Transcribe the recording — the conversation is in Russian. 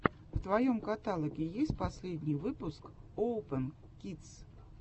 в твоем каталоге есть последний выпуск оупэн кидс